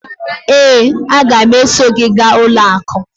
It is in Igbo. ee, a ga m eso gị gaa ụlọ akụ